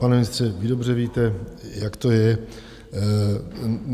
Pane ministře, vy dobře víte, jak to je.